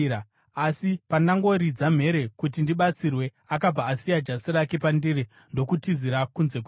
Asi pandangoridza mhere kuti ndibatsirwe, akabva asiya jasi rake pandiri ndokutizira kunze kwemba.”